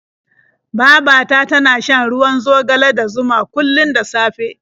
Baba ta tana shan ruwan zogale da zuma kullum da safe.